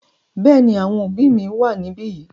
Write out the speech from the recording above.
Bẹ́ẹ̀ ni, àwọn òbí mi wà níbí yìí.